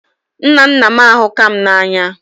Nna nna m ahukam na anya